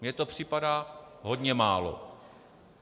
Mně to připadá hodně málo.